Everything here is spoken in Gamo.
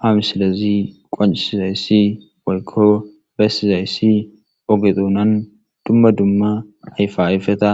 Ha misilezi qoncisizaysi woylo besizaysi oge dunan duma duma ayfa ayfeta